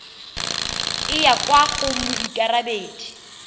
e yang kwa go moikarabedi